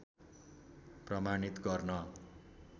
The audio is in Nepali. प्रमाणित गर्न